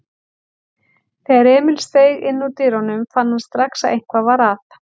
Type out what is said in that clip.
Þegar Emil steig innúr dyrunum fann hann strax að eitthvað var að.